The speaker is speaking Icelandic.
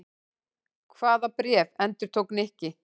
Hvaða bréf? endurtók Nikki.